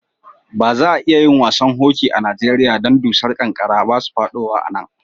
Ba za'a iya yin wasan hoki a Nijeriya dan dusar kankara ba su fadowa a'nan.